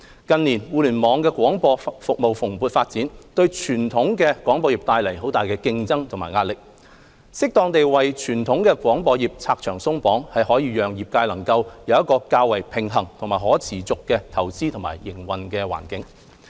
近年，互聯網廣播服務蓬勃發展，對傳統廣播業帶來很大的競爭及壓力，適當地為傳統廣播業"拆牆鬆綁"，可讓業界能夠有一個較為平衡和可持續的投資和營運環境。